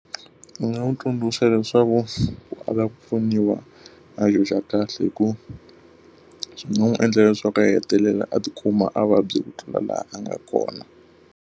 Ndzi nga n'wi tsundzuxa leswaku loko a va ku pfuniwa a kahle hikuva swi nga n'wi endlela leswaku ku a hetelela a tikuma a vabya ku tlula laha a nga kona.